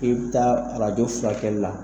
E be taa arajo furakɛli la